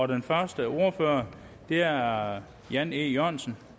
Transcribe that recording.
den første ordfører er herre jan e jørgensen